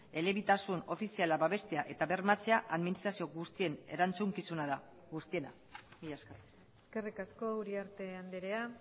elebitasun ofiziala babestea eta bermatzea administrazio guztien erantzukizuna da guztiena mila esker eskerrik asko uriarte andrea